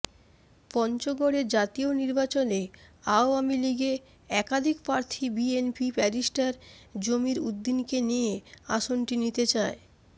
পঞ্চগড়ে জাতীয় নির্বাচনে আওয়ামীলীগে একাধিকপ্রার্থী বিএনপি ব্যারিষ্টার জমির উদ্দীনকে দিয়ে আসনটি নিতে চায়